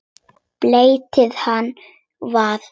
Beltið hans var svart.